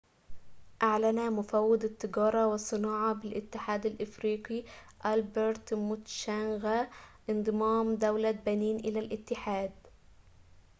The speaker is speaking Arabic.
أعلن مفوض التجارة والصناعة بالاتحاد الافريقى ألبرت موتشانغا انضمام دولة بنين إلى الاتحاد